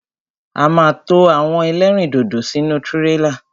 A ma to àwọn ẹlẹ́rìndòdò sínú tírélà.